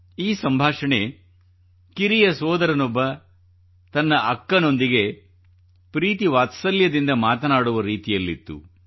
ಈ ಸಂಭಾಷಣೆ ಕಿರಿಯ ಸೋದರನೊಬ್ಬ ತನ್ನ ಅಕ್ಕನೊಂದಿಗೆ ಪ್ರೀತಿ ವಾತ್ಸಲ್ಯದಿಂದ ಮಾತನಾಡುವ ರೀತಿಯಲ್ಲಿತ್ತು